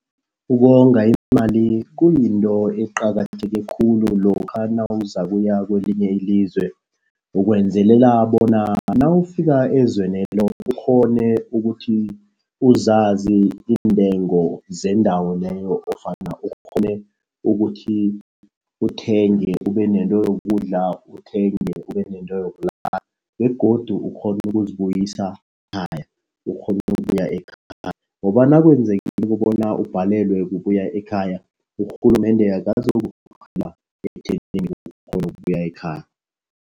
Ukonga imali kuyinto eqakatheke khulu lokha nawuzakuya kwelinye ilizwe. Ukwenzelela bona nawufika ezwenelo ukghone ukuthi uzazi intengo zendawo leyo ofana ukghone ukuthi uthenge ubenento yokudla. Uthenge ube nento yokulala begodu ukghone ukuzibuyisa ekhaya. Ukghone ukubuya ekhaya ngoba nakwenzekileko kobona ubhalelwe kubuya ekhaya, urhulumende ekuthenini uzokukghona ukubuya ekhaya.